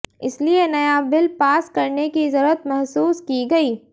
इसीलिए नया bill pass करने की जरूरत महसूस की गई